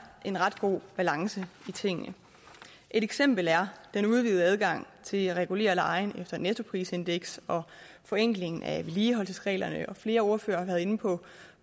en ret god balance i tingene et eksempel er den udvidede adgang til at regulere lejen efter et nettoprisindeks og forenklingen af vedligeholdelsesreglerne og flere ordførere har været inde på